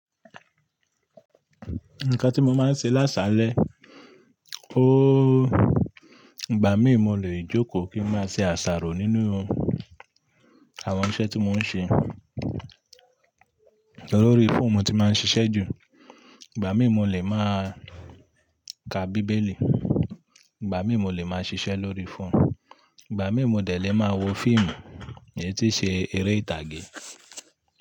Nǹkan tí mo máa ń ṣe lásalẹ̀, óòó, ìgbà mí mo lè jókòó kí ń máa ṣe àsàrò nínú àwọn iṣẹ́ tí mò ń ṣe. Lórí phone mo ti máa ń ṣiṣẹ́ jù, ìgbà mí mo lè máa ka bíbélì, ìgbà mí mo lè máa ṣiṣẹ́ lórí phone, ìgbà mí mo dẹ̀ lé máa wo fíìmù èyí tí ṣe eré ìtàgé.